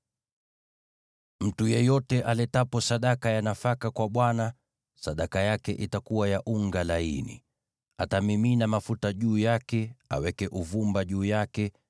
“ ‘Mtu yeyote aletapo sadaka ya nafaka kwa Bwana , sadaka yake itakuwa ya unga laini. Atamimina mafuta juu yake, aweke uvumba juu yake,